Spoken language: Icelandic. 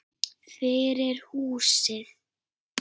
Fyrir húsið.